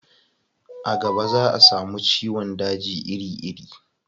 a gaba za a samu ciwon daji iri iri